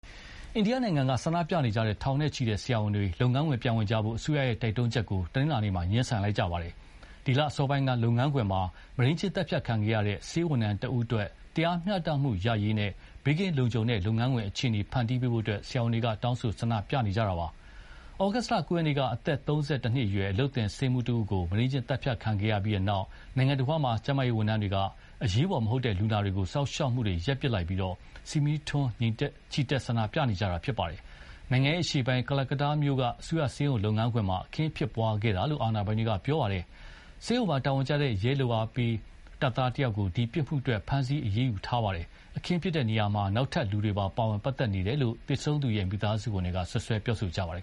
အိန္ဒိယနိုင်ငံက ဆန္ဒပြနေကြတဲ့ ထောင်နဲ့ချီတဲ့ဆရာဝန်တွေ လုပ်ငန်းခွင်ပြန်ဝင်ဖို့ အစိုးရရဲ့တိုက်တွန်းချက်ကို တနင်္လာနေ့မှာ ငြင်းဆန်လိုက် ပါတယ်။ ဒီလအစောပိုင်းကလုပ်ငန်းခွင်မှာ မုဒိန်းကျင့်သတ်ဖြတ်ခံခဲ့ရတဲ့ ဆေးဝန်ထမ်းတဦးအတွက် တရားမျှတမှုရရေးနဲ့ ဘေးကင်းလုံခြုံတဲ့ လုပ်ငန်းခွင်အခြေအနေဖန်တီးပေးဖို့ ဆရာဝန်တွေ တောင်းဆိုဆန္ဒပြနေကြတာပါ။ သြဂုတ် ၉ ရက်နေ့က အသက် ၃၁ နှစ်အရွယ် အလုပ်သင်ဆေးမှူးတဦးကို မုဒိန်းကျင့်သတ်ဖြတ်ခံရပြီးတဲ့နောက် နိုင်ငံတဝန်းက ကျန်းမာရေး ဝန်ထမ်းတွေက အရေးပေါ်မဟုတ်တဲ့လူနာတွေကို စောင့်ရှောက်မှုတွေရပ်ပစ်လိုက်ပြီး ဆီမီးထွန်း ချီတက်ဆန္ဒပြနေကြတာ ဖြစ်ပါတယ်။ နိုင်ငံ့အရှေ့ပိုင်း ကလကတ္တားမြို့က အစိုးရဆေးရုံလုပ်ငန်းခွင်မှာ အခင်းဖြစ်ပွါးခဲ့တာလို့ အာဏာပိုင်တွေက ပြောပါတယ်။ ဆေးရုံမှာ တာဝန်ကျတဲ့ ရဲလုပ်အားပေးတပ်သားတယောက်ကို ဒီပြစ်မှုအတွက် ဖမ်းဆီးအရေးယူထားပါတယ်။ အခင်းဖြစ်တဲ့နေရာမှာ နောက်ထပ်လူတွေပါဝင်ပတ်သက်နေတယ်လို့ သေဆုံးသူရဲ့ မိသားစုဝင်တွေက စွပ်စွဲပြောဆိုပါတယ်